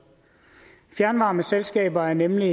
fjernvarmeselskaber er nemlig